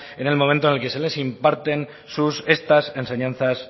en el momento en el que les imparten sus estas enseñanzas